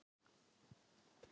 Það er líka bert að óreiðusamir